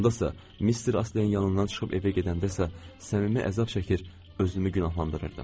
Ondasa Mr. Astleyin yanından çıxıb evə gedəndəsə səmimi əzab çəkir, özümü günahlandırırdım.